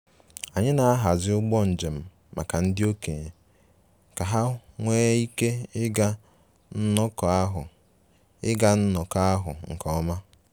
Anyị na-ahazi ụgbọ njem maka ndị okenye ka ha nwee ike ịga nnọkọ ahụ ịga nnọkọ ahụ nke ọma